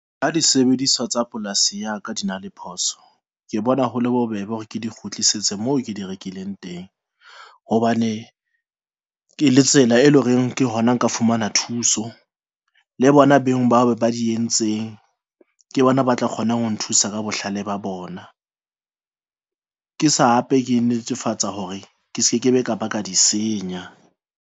Ha di sebediswa tsa polasing ya ka di na le phoso, ke bona ho le bobebe hore ke di kgutlisetse moo ke di rekileng teng hobane ke le tsela, e leng hore ke hona nka fumana thuso le bona beng ba ba di entseng ke bona, ba tla kgona ho nthusa ka bohlale ba bona. Ke sa hape ke netefatsa hore ke ske ke be ka ba ka di senya.